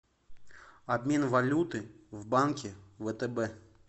обмен валюты в банке втб